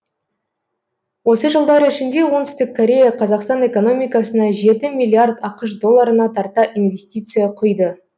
осы жылдар ішінде оңтүстік корея қазақстан экономикасына жеті миллиард ақш долларына тарта инвестиция құйды